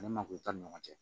Ani mangoro t'a ni ɲɔgɔn cɛ